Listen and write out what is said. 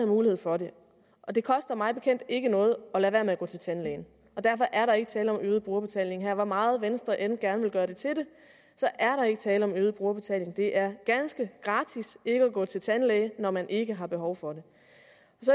mulighed for det det koster mig bekendt ikke noget at lade være med at gå til tandlægen og derfor er der ikke tale om øget brugerbetaling her hvor meget venstre end gerne vil gøre det til det så er der ikke tale om øget brugerbetaling det er ganske gratis ikke at gå til tandlæge når man ikke har behov for det